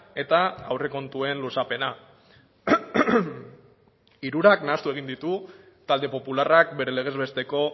eta aurrekontuen luzapena hirurak nahastu egin ditu talde popularrak bere legez besteko